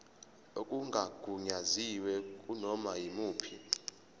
okungagunyaziwe kunoma yimuphi